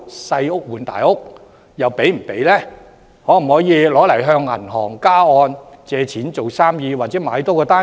相關物業可否用以向銀行加按借貸來做生意，或多購置一個單位？